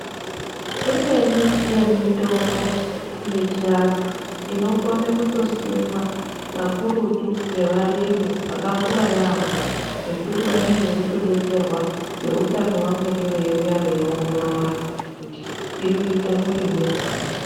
Imweni yemitombo yechiantu inokone kutosimwa pakurutu ngevarimi vakakura yaamho pekuti vanenge veitodetserwa veutano vamweni veiuya veiongorora kuti irikuitwa murimirwei .